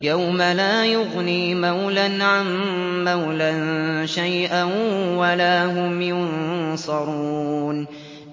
يَوْمَ لَا يُغْنِي مَوْلًى عَن مَّوْلًى شَيْئًا وَلَا هُمْ يُنصَرُونَ